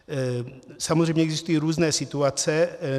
Samozřejmě existují různé situace.